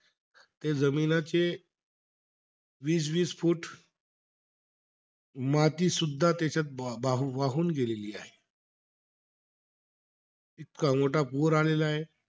ते जमिनीचे वीस-वीस फूट मातीसुद्धा त्याच्यात बा वाहून गेलेली आहे. इतका मोठा पूर आलेला आहे.